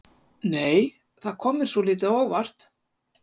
Nei! Það kom mér svolítið á óvart!